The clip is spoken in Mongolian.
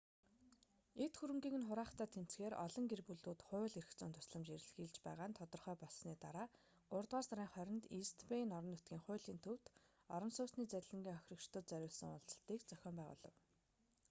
эд хөрөнгийг нь хураахтай тэмцэхээр олон гэр бүлүүд хууль эрх зүйн тусламж эрэлхийлж байгаа нь тодорхой болсоны дараа гуравдугаар сарын 20-нд ийст бэйн орон нутгийн хуулийн төвд орон сууцны залилангийн хохирогчдод зориулсан уулзалтыг зохион байгуулав